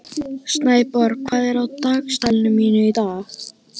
Snæborg, hvað er í dagatalinu mínu í dag?